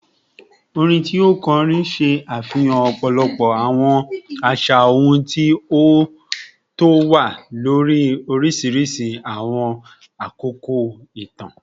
Orin orin ti o kọrin ṣe afihan ọpọlọpọ awọn aṣa ohun ti o wa lori oriṣiriṣi awọn akoko itan